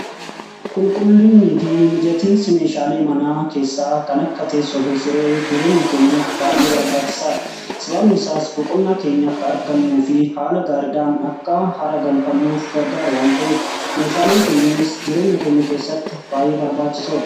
Qulqullinnii fi mijatiinsi meeshaalee manaa keessaa kan akka teessoo fi siree jireenya keenyaf baay'ee barbaachisaa dha. Sabaabni isaas boqonnaa keenya akka argannuu fi haala gaariidhaan akka haara galfannuuf gargaar waan ta'eef meeshaaleen kunninis jireenya keenya keessatti baay'ee barbaachisoodha.